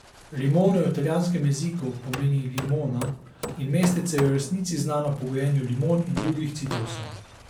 Limone v italijanskem jeziku pomeni limona in mestece je v resnici znano po gojenju limon in drugih citrusov.